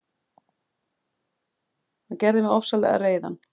Hann gerði mig ofsalega reiðan.